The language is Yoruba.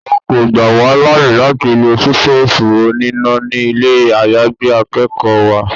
Wọ́n kọ́ gbà wá láyè láti lọ sítófù oníná ni ilé àyágbé akẹ́kọ̀ọ́ wa.